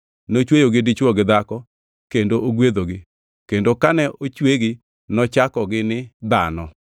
Nochweyogi dichwo gi dhako kendo ogwedhogi kendo kane ochwegi, nochakogi ni “dhano.”